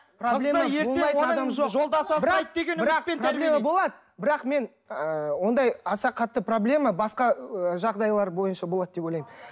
бірақ мен ы аса қатты проблема басқа ы жағдайлар бойынша болады деп ойлаймын